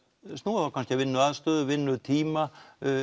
snúa þá kannski að vinnuaðstöðu vinnutíma